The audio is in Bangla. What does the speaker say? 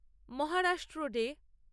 মহারাষ্ট্র ডে